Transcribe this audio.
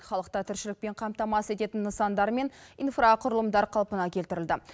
халықты тіршілікпен қамтамасыз ететін нысандар мен инфрақұрылымдар қалпына келтірілді